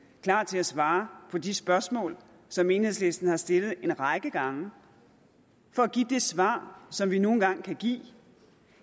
og klar til at svare på de spørgsmål som enhedslisten har stillet en række gange for at give det svar som vi nu engang kan give